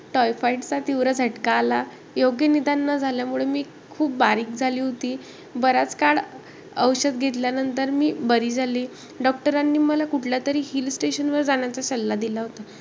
Typhoid चा तीव्र झटका आला. योग्य निदान न झाल्यामुळे, मी खूप बारीक झाली होती. बराच काळ औषध घेतल्यानंतर मी बरी झाली. Doctor नी, मला कुठल्यातरी hill station वर जाण्याचा सल्ला दिला होता.